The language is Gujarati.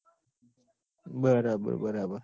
બરાબર બરાબર